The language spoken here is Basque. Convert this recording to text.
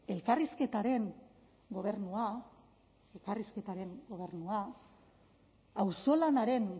elkarrizketaren gobernua elkarrizketaren gobernua auzolanaren